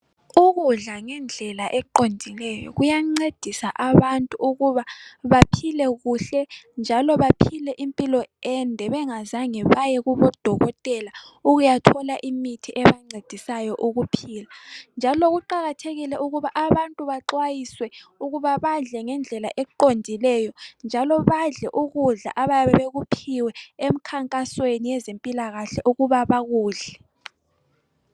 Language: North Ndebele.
Ukudla ngendlela eqondileyo kuyancedisa abantu ukuba baphile kuhle njalo baphile impilo ende bengazange baye kubo Dokotela ukuyathola imithi ebancedisayo ukuphila njalo kuqakathekile ukuba abantu baxwayiswe ukuba badle ngendlela eqondileyo njalo badle ukudla abayabe bekuphiwe emkhankasweni yezempilakahle ukuba bakudle.